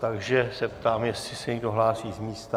Takže se ptám, jestli se někdo hlásí z místa.